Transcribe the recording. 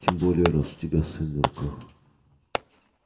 тем более раз у тебя сын на руках